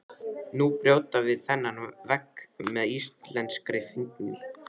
Nú brjótum við þennan vegg með íslenskri fyndni.